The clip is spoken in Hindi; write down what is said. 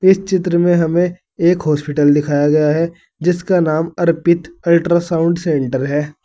इस चित्र में हमें एक हॉस्पिटल दिखाया गया है जिसका नाम अर्पित अल्ट्रासाउंड सेंटर है।